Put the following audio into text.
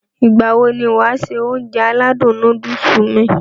Ìgbàwo ni wàá se Ounjẹ aládùn nóódùsì mi?